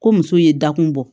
Ko muso ye dakun bɔ